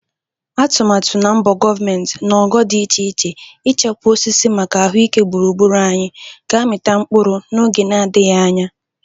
Atụmatụ na mbọ gọvment n'ogo dị iche iche ichekwa osisi maka ahụike gburugburu anyị ga-amịta mkpụrụ n'oge nadịghị anya.